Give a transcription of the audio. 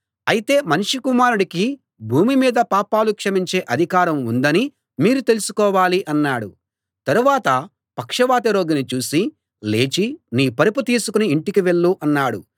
అయితే మనుష్యకుమారుడికి భూమి మీద పాపాలు క్షమించే అధికారం ఉందని మీరు తెలుసుకోవాలి అన్నాడు తరువాత పక్షవాత రోగిని చూసి లేచి నీ పరుపు తీసుకుని ఇంటికి వెళ్ళు అన్నాడు